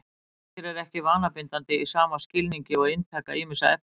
Tölvuleikir eru ekki vanabindandi í sama skilningi og inntaka ýmissa efna.